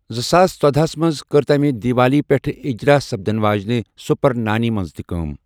زٕساس ژۄدہَ ہس منز ، كٕر تمہِ دیوالی پیٹھ اِجرا سپدن واجِنہِ، سوپر نانی منز تہِ كٲم ۔